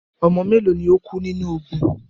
Ọmọ mélo lo kú nínu ogun?